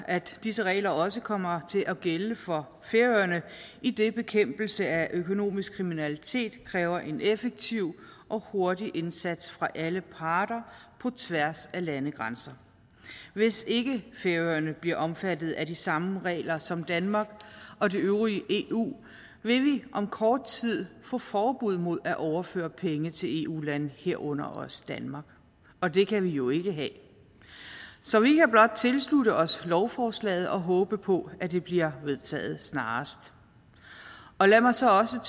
at disse regler også kommer til at gælde for færøerne idet bekæmpelse af økonomisk kriminalitet kræver en effektiv og hurtig indsats fra alle parter på tværs af landegrænser hvis ikke færøerne bliver omfattet af de samme regler som danmark og det øvrige eu vil vi om kort tid få forbud mod at overføre penge til eu lande herunder også danmark og det kan vi jo ikke have så vi kan blot tilslutte os lovforslaget og håbe på at det bliver vedtaget snarest lad mig så også